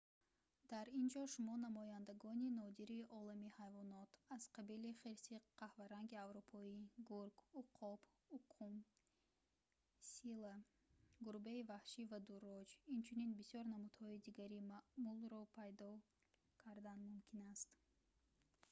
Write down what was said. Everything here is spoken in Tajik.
дар ин ҷо шумо намояндагони нодири олами ҳайвонот аз қабили хирси қаҳваранги аврупоӣ гург уқоб укум сила гурбаи ваҳшӣ ва дурроҷ инчунин бисёр намудҳои дигари маъмулро пайдо кардан мумкин аст